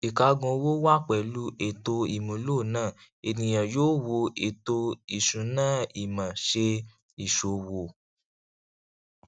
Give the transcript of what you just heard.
ìkágun owó wá pẹlú ètò ìmúlò náà ènìyàn yóò wo ètò ìṣúnáìmọ ṣe ìṣòwò